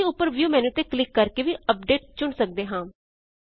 ਅਸੀਂ ਉੱਪਰ view menu ਤੇ ਕਲਿਕ ਕਰਕੇ ਵੀ ਅਪਡੇਟ ਚੁਣ ਸਕਦੇ ਹਾਂ